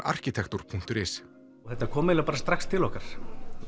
arkitektúr punktur is þetta kom eiginlega bara strax til okkar